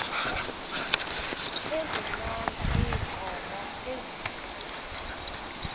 ezinqanda iinkomo ezikhupha